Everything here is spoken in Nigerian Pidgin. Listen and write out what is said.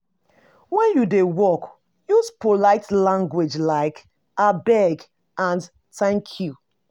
When you dey work, use polite language like "abeg" and "thank you"